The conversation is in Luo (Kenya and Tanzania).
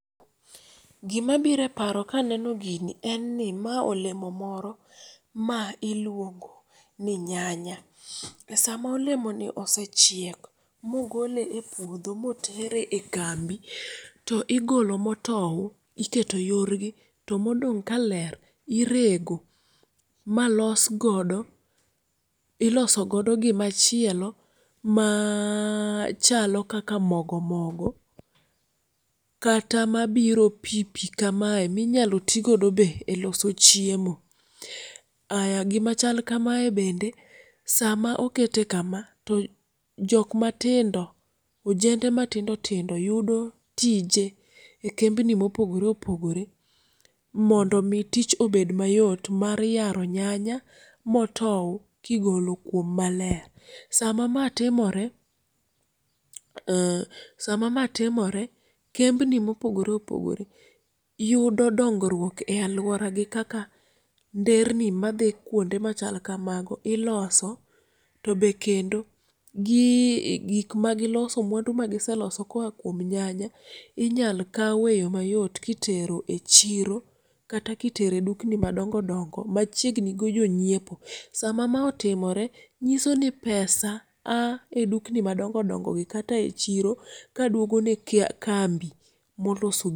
Gima biro eparo kaneno gini en ni ma olemo moro ma iluongo ni nyanya. Esama olemoni osechiek mogole epuodho motere ekambi to igolo motou iketo yorgi to modong' kaler irego malos godo iloso godo gimachiel maaa chalo kaka mogo mogo kata mabiro pii pii kamae minyalo tii godo be eloso chiemo. Aya gima chal kame bende sama okete kama, to jok matindo ojende matindo tindo yudo tije ekembni mopogore opogore mondo mii tich obed mayot mar yaro nyanya motou kigolo kuom maler. Sama ma timore ee sama ma timore kembni mopogore opogore yudo dongruok e aluoragi kaka ndherni madhi kuonde machal kamago iloso. To be kendo gii gik magiloso mwandu magiselo koa kuom nyanya inyal kaw eyo mayot kitero echiro kata kitero edukni madongo dongo machiegni gi jonyiepo. Sama ma otimore nyisoni pesa aa edukni madongo dongogi kata echiro kaduogone kambi moloso